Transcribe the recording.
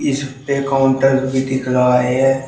इसपे काउंटर भी दिख रहा है।